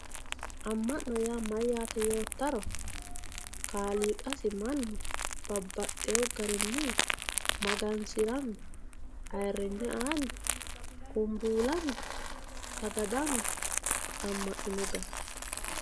amma'no yaa mayyaate yoottaro kaaliiqasi mannu babbaxewo garinni magansiranni ayiiringe aanni kumbuulanni sagadanni amma'nino garaati.